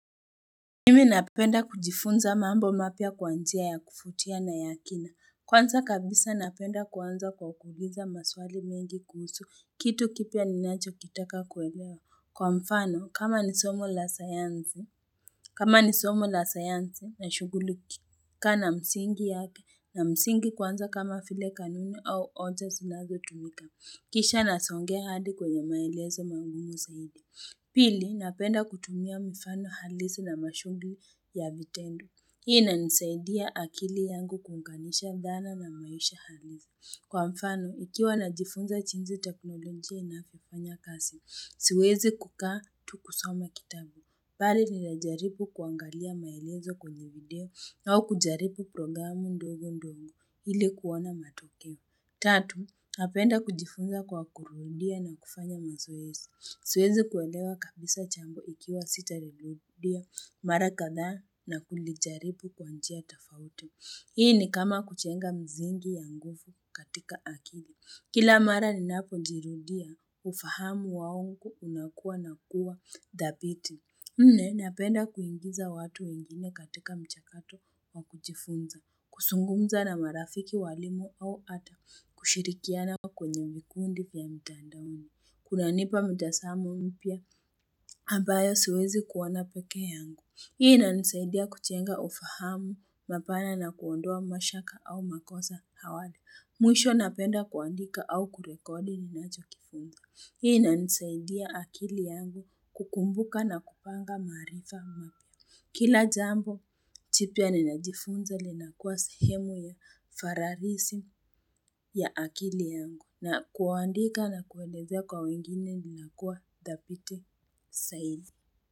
Nimi napenda kujifunza mambo mapya kwa njia ya kuvutia na ya kina. Kwanza kabisa napenda kuanza kwa kuuliza maswali mengi kuhusu kitu kipya ninachokitaka kuelewa. Kwa mfano kama ni somo la sayanzi na shugulika na msingi yake na msingi kwanza kama vile kanuni au hoja zinazotumika. Kisha nasongea hadi kwenye maelezo magumu zaidi. Pili, napenda kutumia mifano halisi na mashuguli ya vitendo. Hii inanisaidia akili yangu kuunganisha dhana na maisha halisi. Kwa mfano, ukiwa unajifunza jinsi teknoloji inavyofanya kazi, siwezi kukaa tu kusoma kitabu. Bali ninajaribu kuangalia maelezo kwenye video au kujaribu programu ndogo ndongo ili kuona matokeo. Tatu, napenda kujifunza kwa kurudia na kufanya mazoezi. Siwezi kuelewa kabisa jambo ikiwa sitalirudia, mara kadhaa na kulijaribu kwa njia tofauti. Hii ni kama kuchenga misingi ya nguvu katika akili. Kila mara ninapojirudia, ufahamu wangu unakua na kuwa dhabiti. Nne napenda kuingiza watu wengine katika mchakato wa kujifunza. Kusungumza na marafiki walimu au hata kushirikiana kwenye mkundi pia mtandaoni. Kunanipa mtazamo mpya, ambao siwezi kuona pekee yangu. Hii inanisaidia kujenga ufahamu mapana na kuondoa mashaka au makosa awali. Mwisho napenda kuandika au kurekodi ninachokifunda. Hii inanisaidia akili yangu kukumbuka na kupanga maarifa mapya. Kila jambo, jipya ninajifunza linakuwa sehemu ya fararisi ya akili yangu. Na kuandika na kueleza kwa wengine ninakua dhabiti zaidi.